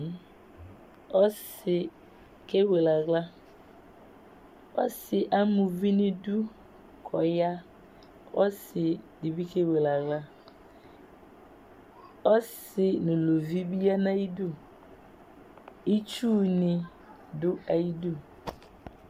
Ɔsi kewele aɣla Ɔsi ama uvi ŋu iɖu kʋ ɔɣa Ɔsi ɖìbí kewele aɣla Ɔsi ŋu uluvi bi ɣa ŋu ayʋ iɖu Itsuni ɖu ayʋ iɖu